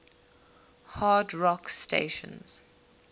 hard rock stations